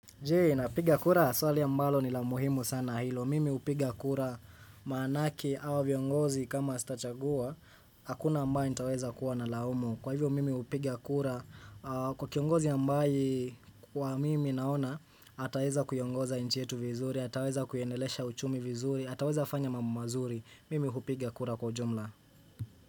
Je napiga kura swali ambalo ni la muhimu sana hilo mimi upiga kura maanake awa viongozi kama sitachagua hakuna ambaye nitaweza kuwa nalaumu kwa hivyo mimi upiga kura kwa kiongozi ambaye kwa mimi naona ataweza kuiongoza inchi yetu vizuri ataweza kuiendelesha uchumi vizuri ataweza fanya mambo mazuri mimi hupiga kura kwa ujumla.